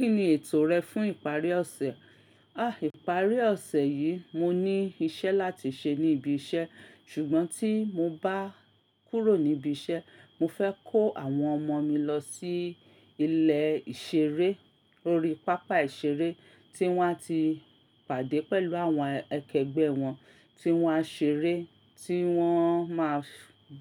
Kí ni ètò rẹ fún ìparí ọ̀sẹ̀? À, ìparí ọ̀sẹ̀ yìí mo ní iṣẹ́ láti ṣe ní ibi iṣẹ́, ṣùgbọ́n tí mo bá kúrò níbi iṣẹ́, mo fẹ́ kó àwọn ọmọ mi lọ sí ilé ìṣeré, orí pápá ìṣeré tí wọ́n á ti pàdé pẹ̀lú àwọn akẹgbẹ́ wọn tí wọ́n á ṣeré, tí wọ́n máa